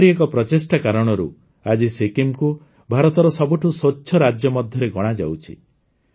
ଏପରି ଏକ ପ୍ରଚେଷ୍ଟା କାରଣରୁ ଆଜି ସିକ୍କିମ୍କୁ ଭାରତର ସବୁଠୁ ସ୍ୱଚ୍ଛ ରାଜ୍ୟ ମଧ୍ୟରେ ଗଣାଯାଉଛି